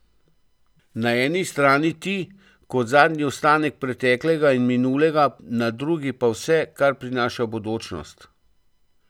Na eni strani ti, kot zadnji ostanek preteklega in minulega, na drugi pa vse, kar prinaša bodočnost.